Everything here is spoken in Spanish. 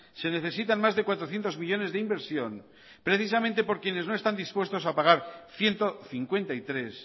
se necesitan más de cuatrocientos millónes de inversión precisamente por quienes no están dispuestos a pagar ciento cincuenta y tres